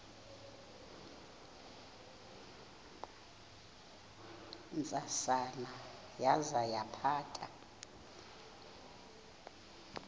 ntsasana yaza yaphatha